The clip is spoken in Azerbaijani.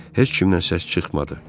Heç kimdən səs çıxmadı.